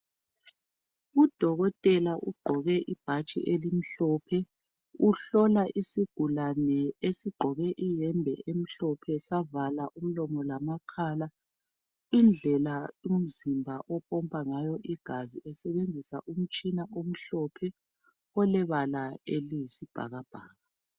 Udokotela ugqoke ibhatshi elimhlophe uhlola isigulane esigqoke iyembe emhlophe savala umlomo lamakhala indlela lumzimba opompa ngayo igazi esebenzisa umutshina omhlophe olebala eliyisibhakabhaka.